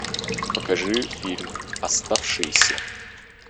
покажи фильм оставшийся